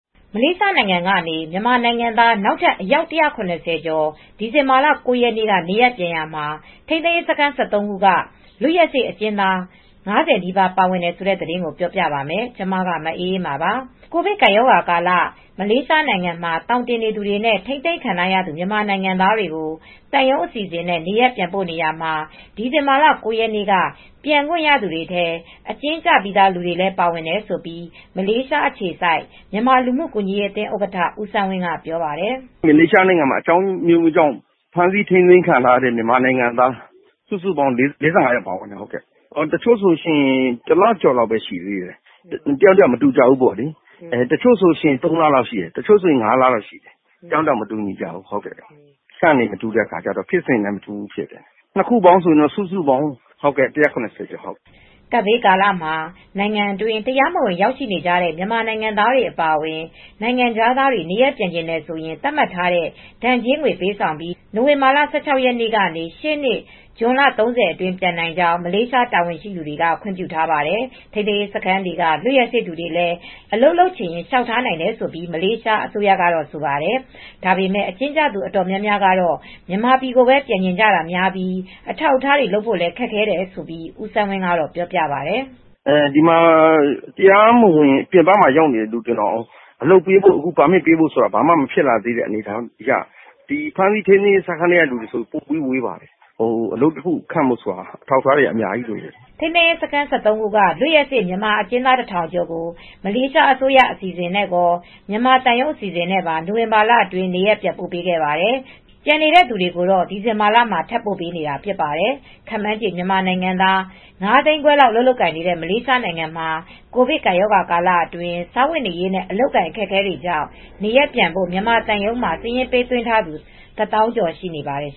မလေးရှားနိုင်ငံကနေ မြန်မာနိုင်ငံသား နောက်ထပ် အယောက် ၁၇၀ ကျော် ဒီဇင်ဘာလ ၉ ရက်နေ့က နေရပ်ပြန်ရာမှာ ထိန်းသိမ်းရေးစခန်း ၁၃ ခုက လွတ်ရက်စေ့အကျဉ်းသား ၅၀ နီးပါးပါတယ်ဆိုတဲ့ သတင်းကိုပြောပြပါမယ်။ ဗွီအိုအေမြန်မာပိုင်း သတင်းထောက် မအေးအေးမာက သတင်းပေးပို့ထားပါတယ်။ ကိုဗစ်ကပ်ရောဂါကာလ မလေးရှားနိုင်ငံမှာ သောင်တင်နေသူတွေနဲ့ ထိန်းသိမ်းခံထားရသူ မြန်မာနိုင်ငံသားတွေကို သံရုံးအစီအစဉ်နဲ့ နေရပ်ပြန်ပို့နေရာမှာ ဒီဇင်ဘာလ ၉ ရက်နေ့က ပြန်ခွင့်ရသူတွေထဲ အကျဉ်းကျပြီးသား လူတွေလည်း ပါတယ်လို့ မလေးရှားအခြေစိုက် မြန်မာလူမှုကူညီရေးအသင်းဥက္ကဋ္ဌ ဦးစန်းဝင်းက ပြောပါတယ်။ "မလေးရှားနိုင်ငံမှာ အကြောင်းအမျိုးမျိုးကြောင့် ဖမ်းဆီးထိန်းသိမ်းခံရတဲ့ ၄၅ ယောက်ပါဝင်ပါတယ် တချို့ဆိုရင် တလ ကျော်လောက်ပဲရှိတယ်။ တချို့ဆို ၃ လလောက် တချို့ဆို ၅ လကျော်လောက် တယောက်နဲ့ တယောက်ဖြစ်စဉ်မတူတော့ ပြစ်ဒဏ်ကျတာလည်းမတူကြဘူး။ ၂ စုပေါင်း စုစုပေါင်း ၁၇၀ ကျော်ပါတယ်။" ကပ်ဘေးကာလမှာ နိုင်ငံတွင်း တရားမဝင်ရောက်ရှိနေတဲ့ မြန်မာနိုင်ငံသားတွေ အပါအဝင် နိုင်ငံခြားသားတွေ နေရပ်ပြန်ချင်တယ်ဆိုရင် သတ်မှတ်ထားတဲ့ ဒဏ်ကြေးငွေ ပေးဆောင်ပြီး နိုဝင်ဘာလ ၁၆ ရက်နေ့ကနေ ရှေ့နှစ် ဇွန်လ ၃၀ အတွင်း ပြန်နိုင်ကြောင်း မလေးရှား တာဝန်ရှိသူတွေက ခွင့်ပြုထားပါတယ်။ ထိန်းသိမ်းရေးစခန်းက လွတ်ရက်စေ့သူတွေလည်း အလုပ်လုပ်ချင်ရင် လျှောက်နိုင်တယ်လို့ မလေးရှား အစိုးရကဆိုပါတယ်။ ဒါပေမဲ့ အကျဉ်းကျသူ အတော်များများကတော့ မြန်မာပြည်ကိုပဲပြန်ချင်ကြပြီး အထောက်အထားတွေ လုပ်ဖို့ခက်ခဲတယ်လို့ ဦးစန်းဝင်းကပြောပါတယ်။ "ဒီမှာ တရားမဝင်တွေ ပြင်ပကရောက်နေတဲ့ သူတွေအလုပ်ပေးဖို့ ပါမစ်ပေးဖို့ဆိုတာ ဘယ်လိုမှ မဖြစ်သေးတာ ထိန်းသိမ်းရေးစခန်းက လူတွေဆို ပိုဝေးပါတယ်။ အလုပ်တခုရဖို့ဆိုတာ အထောက်အထားတွေက အများကြီးလိုပါတယ်။" ထိန်းသိမ်းရေးစခန်း ၁၃ ခုက လွတ်ရက်စေ့ မြန်မာအကျဉ်းသား ၁,၀၀၀ ကျော်ကို မလေးရှားအစိုးရ အစီအစဉ်နဲ့ရော မြန်မာသံရုံးအစီအစဉ်နဲ့ပါ နိုဝင်ဘာလအတွင်း နေရပ်ပြန်ပို့ပေးခဲ့ပါတယ်။ ကျန်နေတဲ့သူတွေကို ဒီဇင်ဘာလမှာလည်း ထပ်ပို့ပေးနေတာဖြစ်ပါတယ်။ ခန့်မှန်းခြေ မြန်မာနိုင်ငံသား ၅၅၀,၀၀၀ လောက်အလုပ်လုပ်ကိုင်နေတဲ့ မလေးရှားမှာ ကိုဗစ်ကပ်ရောဂါကာလအတွင်း စားဝတ်နေရေးနဲ့ အလုပ်အကိုင် အခက်အခဲတွေကြောင့် နေရပ်ပြန်ဖို့ မြန်မာသံရုံးမှာ စာရင်းပေးသွင်းထားသူ ၁၀,၀၀၀ ကျော်ရှိပါတယ်